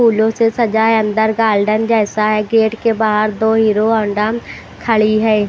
फूलों से सजा है अंदर गार्डन जैसा है गेट के बाहर दो हीरो हौंडा खड़ी है।